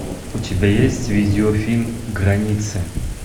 у тебя есть видеофильм границы